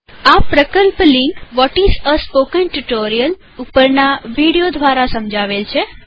આ પ્રકલ્પ link what is a spoken tutorial ઉપરના વીડિઓ દ્વારા સમજાવેલ છે